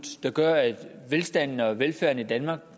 der gør at velstanden og velfærden i danmark